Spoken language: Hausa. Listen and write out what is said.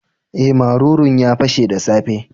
Eh, marurun ya pashe the safe.